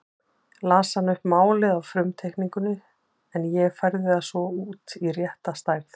Las hann upp málið af frumteikningunni en ég færði það svo út í rétta stærð.